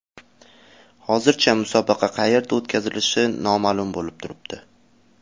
Hozircha musobaqa qayerda o‘tkazilishi noma’lum bo‘lib turibdi.